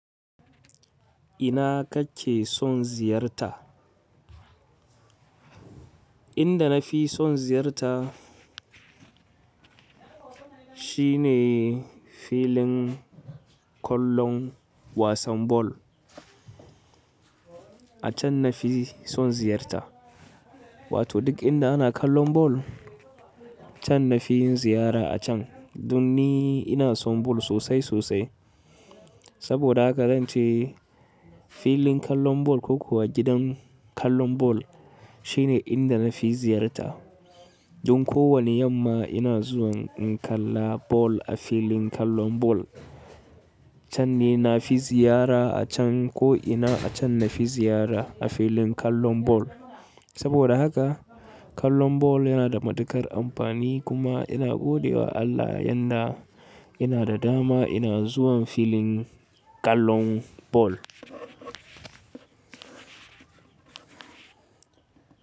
Ina kake son ziyarta? Inda na fi son ziyarta shine filin kallon wasan ball. A can na fi son ziyarta. Wato duk inda ana kallon ball can na fi yin ziyara a can. Dun ni ina son ball sosai sosai. Saboda haka zan ce filin kallon ball ko kuwa gidan kallon ball shine inda na fi ziyarta. Dun ko wani yamma ina zuwan in kalla ball a filin kallon ball. Can ni na fi ziyara a can ko ina a can na fi ziyara a filin kallon ball. Saboda haka kallon ball yana da matukar amfani kuma ina gode wa Allah yanda ina da dama ina zuwan filin kallon bal.